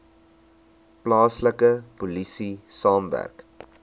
plaaslike polisie saamwerk